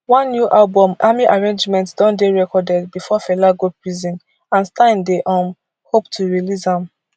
one new album army arrangement don dey recorded bifor fela go prison and stein dey um hope to release am